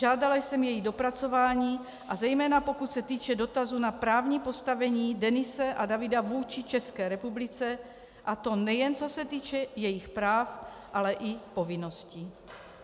Žádala jsem její dopracování, a zejména pokud se týče dotazu na právní postavení Denise a Davida vůči České republice, a to nejen co se týče jejich práv, ale i povinností.